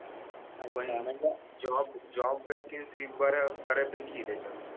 पण job job vacancy बऱ्या बऱ्यापैकी आहे त्याच्या